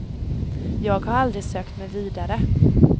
Jag har aldrig sökt mig vidare.